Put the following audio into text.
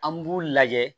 An b'u lajɛ